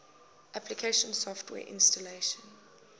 application software installation